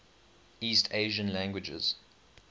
east asian languages